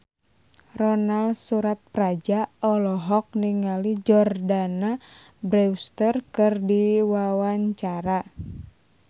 Ronal Surapradja olohok ningali Jordana Brewster keur diwawancara